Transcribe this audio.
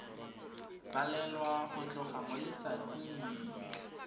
balelwa go tloga mo letsatsing